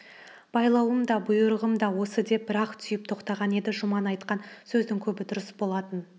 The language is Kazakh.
байлауым да бұйрығым да осы деп бір-ақ түйіп тоқтаған еді жұман айтқан сөздің көбі дұрыс болатын